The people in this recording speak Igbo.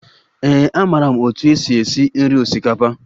Ee, amaara m otú e si esi nri osikapa